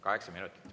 Kaheksa minutit.